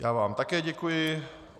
Já vám také děkuji.